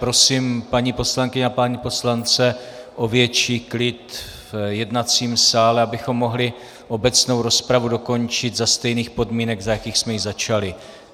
Prosím paní poslankyně a pány poslance o větší klid v jednacím sále, abychom mohli obecnou rozpravu dokončit za stejných podmínek, za jakých jsme ji začali.